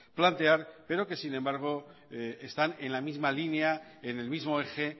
plantear pero que sin embargo están en la misma línea en el mismo eje